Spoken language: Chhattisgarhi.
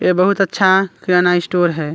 ए बहुत अच्छा किराना स्टोर है ।